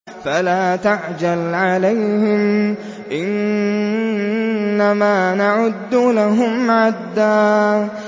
فَلَا تَعْجَلْ عَلَيْهِمْ ۖ إِنَّمَا نَعُدُّ لَهُمْ عَدًّا